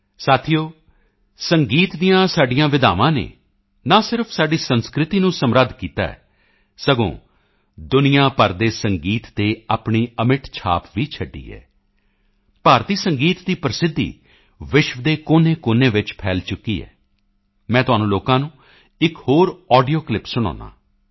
ਸਾਥੀਓ ਸੰਗੀਤ ਦੀਆਂ ਸਾਡੀਆਂ ਵਿਧਾਵਾਂ ਨੇ ਨਾ ਸਿਰਫ਼ ਸਾਡੀ ਸੰਸਕ੍ਰਿਤੀ ਨੂੰ ਸਮ੍ਰਿੱਧ ਕੀਤਾ ਹੈ ਸਗੋਂ ਦੁਨੀਆ ਭਰ ਦੇ ਸੰਗੀਤ ਤੇ ਆਪਣੀ ਅਮਿੱਟ ਛਾਪ ਵੀ ਛੱਡੀ ਹੈ ਭਾਰਤੀ ਸੰਗੀਤ ਦੀ ਪ੍ਰਸਿੱਧੀ ਵਿਸ਼ਵ ਦੇ ਕੋਨੇਕੋਨੇ ਵਿੱਚ ਫੈਲ ਚੁੱਕੀ ਹੈ ਮੈਂ ਤੁਹਾਨੂੰ ਲੋਕਾਂ ਨੂੰ ਇੱਕ ਹੋਰ ਆਡੀਓ ਕਲਿੱਪ ਸੁਣਾਉਂਦਾ ਹਾਂ